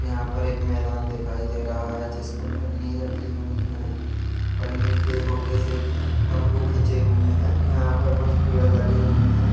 यहाँ पर एक मैदान दिखाई दे रहा है जिस पर पन्नी रखी हुई है पन्नी के छोटे से घ तंबू खिचे हुए है यहाँ पर कुछ पेड़ लगे हुए हैं।